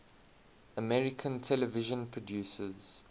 american television producers